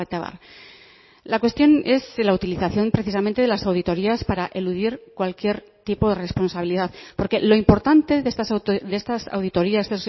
abar la cuestión es la utilización precisamente de las auditorías para eludir cualquier tipo de responsabilidad porque lo importante de estas auditorías